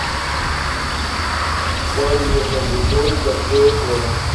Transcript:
поехали тройка дв